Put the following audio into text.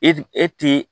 E e ti